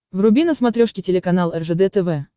вруби на смотрешке телеканал ржд тв